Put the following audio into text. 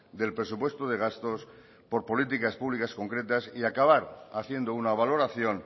del presupuesto de gastos por políticas públicas concretas y acabar haciendo una valoración